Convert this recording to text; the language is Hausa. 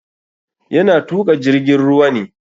Yana tuƙa jirgin ruwa ne.